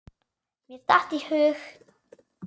Mér datt í hug.